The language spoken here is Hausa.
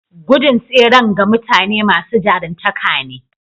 Gudun tseren ga mutane masu jaruntaka ne.